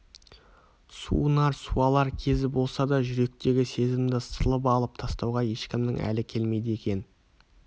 суынар суалар кезі болса да жүректегі сезімді сылып алып тастауға ешкімнің әлі келмейді екен